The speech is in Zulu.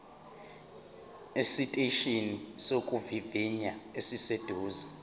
esiteshini sokuvivinya esiseduze